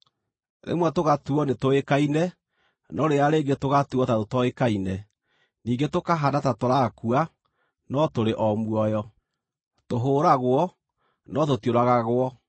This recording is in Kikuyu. rĩmwe tũgatuuo nĩtũũĩkaine, no rĩrĩa rĩngĩ tũgatuuo ta tũtoĩkaine; ningĩ tũkahaana ta tũraakua, no tũrĩ o muoyo; tũhũũragwo, no tũtiũragagwo;